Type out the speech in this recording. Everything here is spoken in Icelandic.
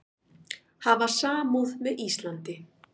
Hafa samúð með Íslandi